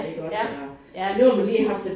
Ja ja lige præcis